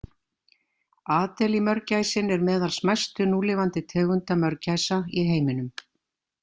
Adeliemörgæsin er meðal smæstu núlifandi tegunda mörgæsa í heiminum.